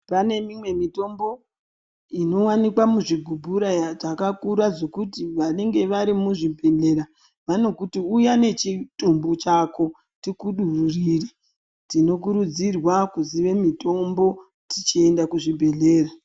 Pane mimwe mitombo inowanikwa muzvigubhura dzakakura zvekuti vanenge vari muzvibhedhlera vanokuti uya nechitumbu chako vakudururire tinokurudzirwa kuziya mitombo tichienda kuzvibhedhlera.